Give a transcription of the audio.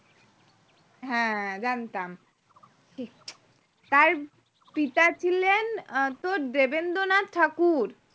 হ্যাঁ জানতাম তার পিতা ছিলেন আহ তোর দেবেন্দ্রনাথ ঠাকুর